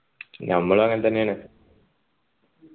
ഞമ്മളും അങ്ങനെത്തന്നെയാണ്